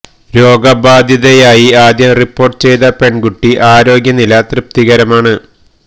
രോഗ ബാധിതയായി ആദ്യം റിപ്പോര്ട്ട് ചെയ്ത പെണ്കുട്ടി ആരോഗ്യ നില തൃപ്തകരമാണ്